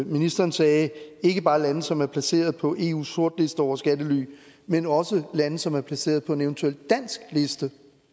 ministeren sagde ikke bare lande som er placeret på eus sortliste over skattely men også lande som er placeret på en eventuel dansk liste